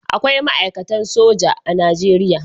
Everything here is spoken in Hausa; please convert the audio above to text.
Akwai ma'aikatan soji a Najeriya